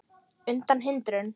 undan hindrun